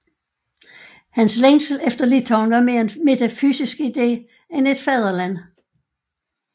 Hans længsel efter Litauen var mere en metafysisk idé end et fædreland